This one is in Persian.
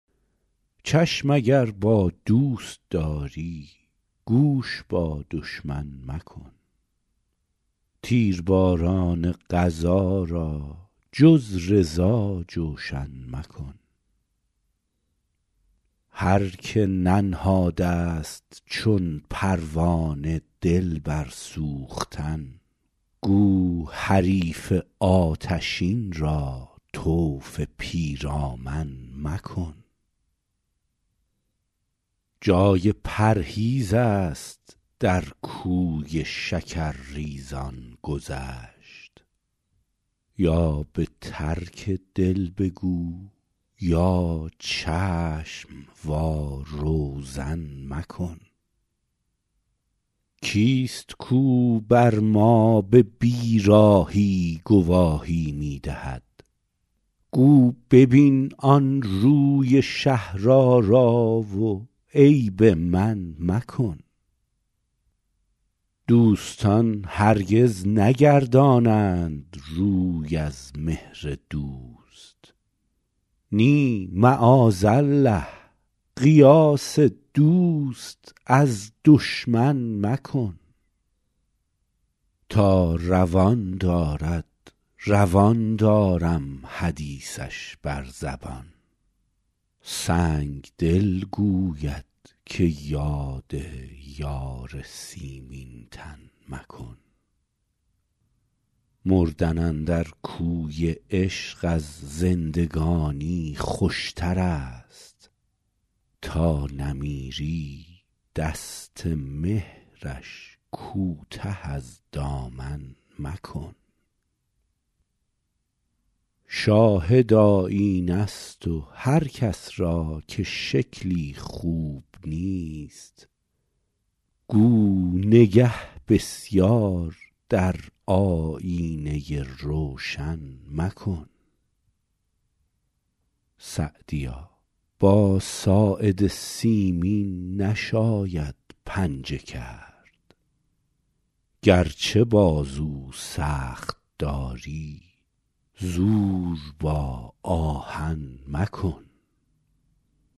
چشم اگر با دوست داری گوش با دشمن مکن تیرباران قضا را جز رضا جوشن مکن هر که ننهاده ست چون پروانه دل بر سوختن گو حریف آتشین را طوف پیرامن مکن جای پرهیز است در کوی شکرریزان گذشت یا به ترک دل بگو یا چشم وا روزن مکن کیست کاو بر ما به بیراهی گواهی می دهد گو ببین آن روی شهرآرا و عیب من مکن دوستان هرگز نگردانند روی از مهر دوست نی معاذالله قیاس دوست از دشمن مکن تا روان دارد روان دارم حدیثش بر زبان سنگدل گوید که یاد یار سیمین تن مکن مردن اندر کوی عشق از زندگانی خوشتر است تا نمیری دست مهرش کوته از دامن مکن شاهد آیینه ست و هر کس را که شکلی خوب نیست گو نگه بسیار در آیینه روشن مکن سعدیا با ساعد سیمین نشاید پنجه کرد گرچه بازو سخت داری زور با آهن مکن